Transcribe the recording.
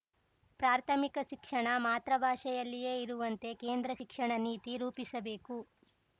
ಪ್ರಾಥಮಿಕ ಶಿಕ್ಷಣ ಮಾತೃಭಾಷೆಯಲ್ಲಿಯೇ ಇರುವಂತೆ ಕೇಂದ್ರ ಶಿಕ್ಷಣ ನೀತಿ ರೂಪಿಸಬೇಕು